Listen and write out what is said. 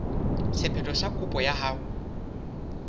sephetho sa kopo ya hao